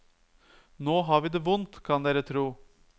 Nå har vi det vondt kan dere tro.